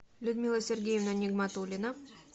людмила сергеевна нигматулина